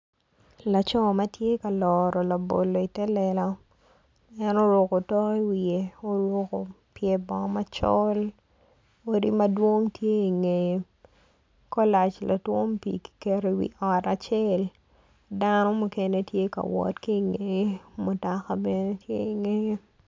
Laco ma tye ka loro labolo i te lela en oruko otok i wiye oruko pye bongo macol. odi madwong tye i ngeye kolac ki keto i wi ot acel dano mukene tye ka wot ki i ngeye mutoka bene tye i ngeye.